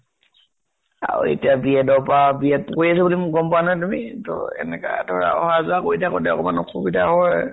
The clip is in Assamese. আৰু এতিয়া b. ed ৰ পৰা, b. ed কৰি আছো বুলি গʼম পোৱা নে তুমি তো, এনেকে ধৰা অহা যোৱা কৰি থাকাতে অকনমান অসুবিধা হয় ।